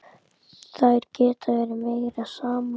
Þær geta verið meira saman.